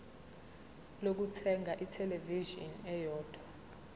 lokuthenga ithelevishini eyodwa